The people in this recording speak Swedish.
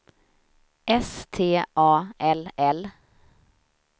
S T A L L